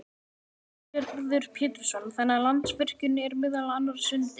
Lillý Valgerður Pétursdóttir: Þannig að Landsvirkjun er meðal annars undir?